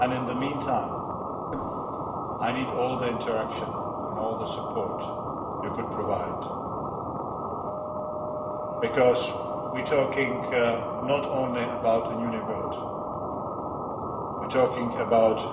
In the meantime I need all the interaction, and all the support, you can provide because we are talking not only about a new neighbourhood but also about